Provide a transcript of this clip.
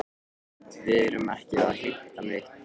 Við erum ekki að heimta neitt.